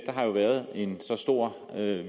der har jo været en stor